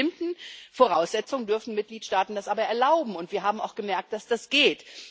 Unter bestimmten Voraussetzungen dürfen Mitgliedstaaten das aber erlauben, und wir haben auch gemerkt, dass das geht.